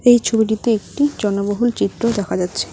এই ছবিটিতে একটি জনবহুল চিত্র দেখা যাচ্ছে।